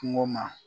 Kungo ma